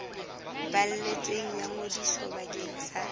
balletsweng ya ngodiso bakeng sa